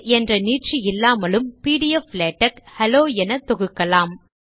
tech என்ற நீட்சி இல்லாமலும் பிடிஎஃப் லேடக் ஹெலோ என தொகுக்கலாம்